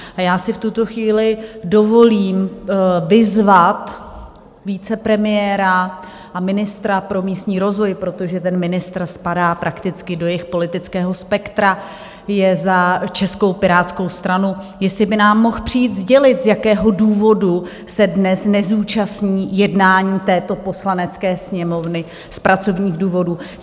A já si v tuto chvíli dovolím vyzvat vicepremiéra a ministra pro místní rozvoj, protože ten ministr spadá prakticky do jejich politického spektra, je za Českou pirátskou stranu, jestli by nám mohl přijít sdělit, z jakého důvodu se dnes nezúčastní jednání této Poslanecké sněmovny z pracovních důvodů.